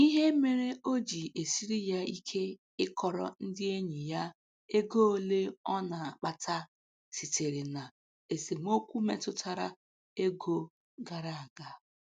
Ihe mere o ji esiri ya ike ịkọrọ ndị enyi ya ego ole ọ na-akpata sitere na esemokwu metụtara ego gara aga.